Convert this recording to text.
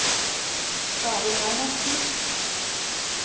David Reinertsen